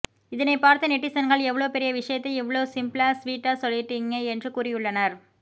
இதனை பார்த்த நெட்டிசன்கள் எவ்ளோ பெரிய விஷயத்த இவ்ளோ சிம்பிளா ஸ்வீட்டா சொல்லிட்டிங்க என்று கூறியுள்ளனர்